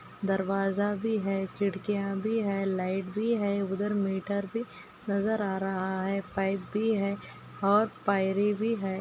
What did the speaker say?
दरवाज़ा भी है खिड़किया भी है लाइट भी है उधर मीटर भी नजर आ रहा है पाइप भी है और पायरी भी है।